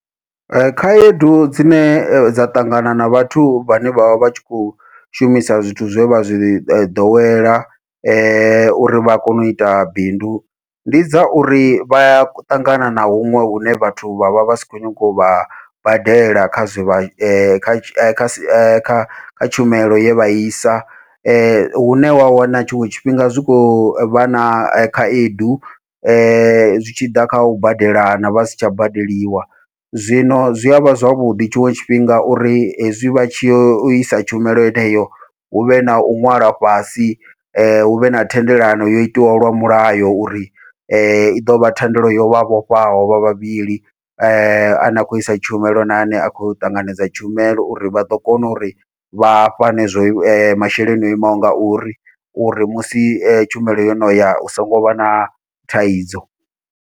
Ee khaedu dzine dza ṱangana na vhathu vhane vha vha vha tshi khou shumisa zwithu zwe vha zwi ḓowela uri vha kone uita bindu, ndi dza uri vha ya ṱangana na huṅwe hune vhathu vha vha vha si khou nyanga uvha badela kha zwivhe kha tshumelo ye vha i isa, hune wa wana tshiṅwe tshifhinga zwi kho vha na khaedu zwi tshi ḓa kha u badelana vha si tsha badeliwa. Zwino zwi avha zwavhuḓi tshiṅwe tshifhinga uri hezwi vha tshi yo isa tshumelo yeneyo, huvhe nau ṅwalwa fhasi huvhe na thendelano yo itiwaho lwa mulayo uri i ḓovha thendelo yovha vhofhaho vha vhavhili, ane a khou isa tshumelo na ane a khou ṱanganedza tshumelo uri vha ḓo kona uri vha fhane zwo masheleni o imaho ngauri, uri musi tshumelo yo noya hu songo vha na thaidzo.